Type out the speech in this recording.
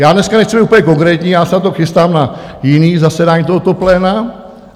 Já dneska nechci být úplně konkrétní, já se na to chystám na jiné zasedání tohoto pléna.